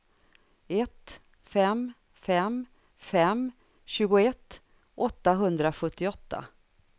ett fem fem fem tjugoett åttahundrasjuttioåtta